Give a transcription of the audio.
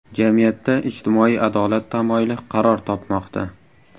Jamiyatda ijtimoiy adolat tamoyili qaror topmoqda.